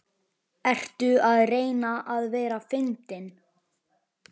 Ertu að reyna að vera fyndin?